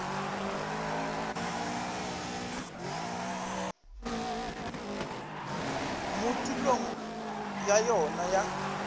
mo tulong ya yona ya